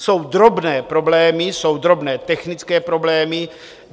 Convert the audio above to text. Jsou drobné problémy, jsou drobné technické problémy.